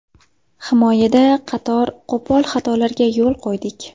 Himoyada qator qo‘pol xatolarga yo‘l qo‘ydik.